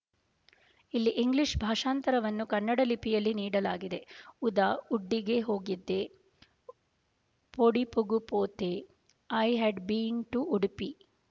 ಇಲ್ಲಿ ಇಂಗ್ಲೀಷ್ ಭಾಷಾಂತರವನ್ನು ಕನ್ನಡ ಲಿಪಿಯಲ್ಲಿ ನೀಡಲಾಗಿದೆಉದಾ ಉಡ್ಪಿಗೆ ಹೋಗಿದ್ದೆ ವೊಡಿಪುಗು ಪೋತೆಐ ಹೆಡ್ ಬಿನ್ ಟು ಉಡಿಪಿ